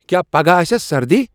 کیا پگہہ آسِیاہ سردی ۔